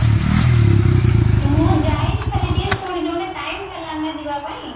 ମୁଁ ଯାଇନି ଖାଲି ଟିକେ ଶୁଣିଛି ମାନେ time ହେଲାନି ନା ଯିବା ପାଇଁ